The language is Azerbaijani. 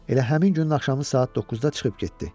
Elə həmin günün axşamı saat 9-da çıxıb getdi.